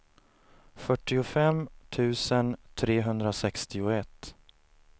fyrtiofem tusen trehundrasextioett